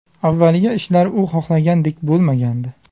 Avvaliga ishlari u xohlagandek bo‘lmagandi.